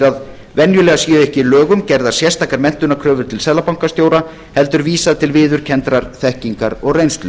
að venjulega séu ekki í lögum gerðar sérstakar menntunarkröfur til seðlabankastjóra heldur vísað til viðurkenndrar þekkingar og reynslu